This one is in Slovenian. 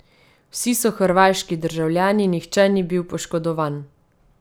Vsi so hrvaški državljani, nihče ni bil poškodovan.